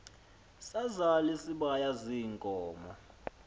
sazal isibaya ziinkomo